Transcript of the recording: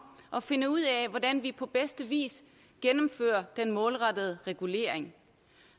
at finde ud af hvordan vi på bedste vis gennemfører den målrettede regulering